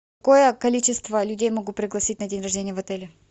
какое количество людей могу пригласить на день рождения в отеле